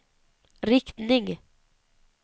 riktning